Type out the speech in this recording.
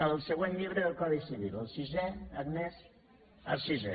el següent llibre del codi civil el sisè agnès el sisè